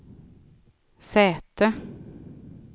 säte